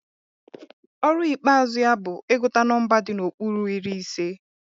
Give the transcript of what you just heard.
Ọrụ ikpeazụ ya bụ ịgụta nọmba di n'okpuru iri ise